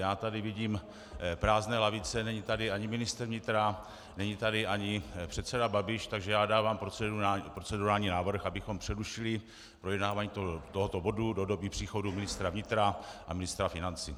Já tady vidím prázdné lavice, není tady ani ministr vnitra, není tady ani předseda Babiš, takže já dávám procedurální návrh, abychom přerušili projednávání tohoto bodu do doby příchodu ministra vnitra a ministra financí.